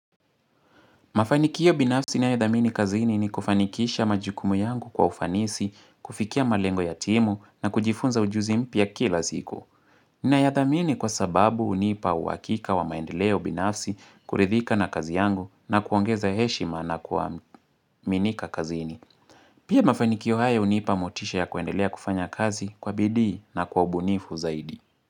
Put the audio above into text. Mafanikio binafsi ninayodhamini kazini ni kufanikisha majukumu yangu kwa ufanisi, kufikia malengo ya timu na kujifunza ujuzi mpya kila siku. Nayadhamini kwa sababu unipa uwakika wa maendeleo binafsi kuridhika na kazi yangu na kuongeza heshima na kuaminika kazini. Pia mafanikio haya unipa motisha ya kuendelea kufanya kazi kwa bidii na kwa ubunifu zaidi.